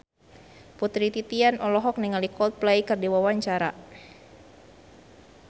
Putri Titian olohok ningali Coldplay keur diwawancara